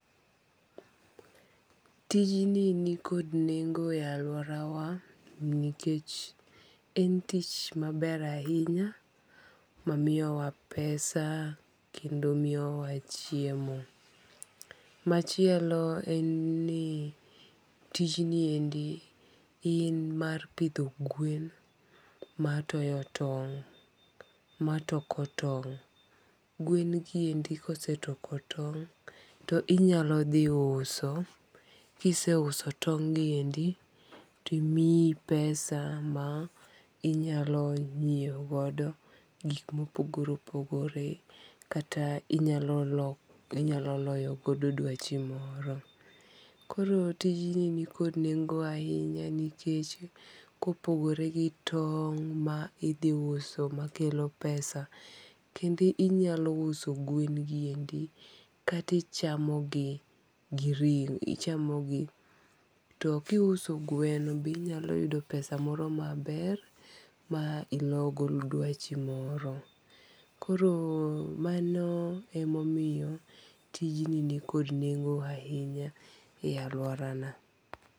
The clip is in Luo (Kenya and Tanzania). Tijni ni nikod nengo e alauorawa nikech en tich ma ber ahinya ma ,miyowa pesa kendo ma miyo wa chiemo. Machielo en ni tijni endi en mar pidho gwen ma toyo tong'. Ma toko tong, gwen gi eki ka osetoko tong, ti inya dhi to inyalo dhi uso, ki iseuso tong' gi endi to miyi pesa ma inyalo ng'iewo godo gik ma opogore opogore kata inya loyo go dwachi moro koro tijni ni kod nengo ahinya nikech ka opogore gi tong'ma idhi yso ma kelo pesa kendo inya uso gwen gi endi kata bi chamo gi gi ring'o, ichamo gi to ki isuo gweno be inyalo yudo pesa moro ma ber ma ilo go dwachi moro, koro ma no e ma omiyo tijni ni kod nengo ahinya e aluora na.